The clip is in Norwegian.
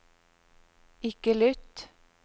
ikke lytt